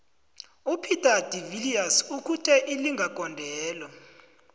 upeter de viliers ukhuthe ilinga gondelo